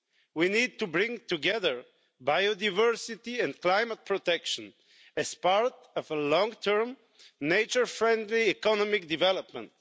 We need to bring together biodiversity and climate protection as part of a long-term, nature-friendly economic development.